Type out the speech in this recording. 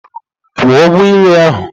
Kwụọ ụgwọ nri ahụ!